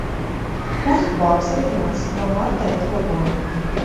курс бакса тринадцатого марта этого года